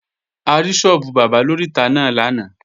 A rí sọ́ọ́bù bábà lóríta náà lánàá